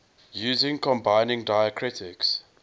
using combining diacritics